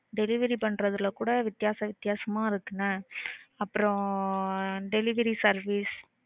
Delivery பண்றதுல கூட வித்யாசம் வித்யாசமா இருக்கு என்ன? அப்புறம் delivery service.